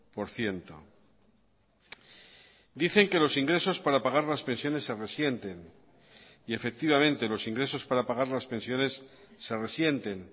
por ciento dicen que los ingresos para pagar las pensiones se resienten y efectivamente los ingresos para pagar las pensiones se resienten